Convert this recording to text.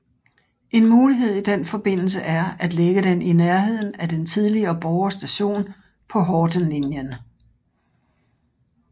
En mulighed i den forbindelse er at lægge den i nærheden af den tidligere Borre Station på Hortenlinjen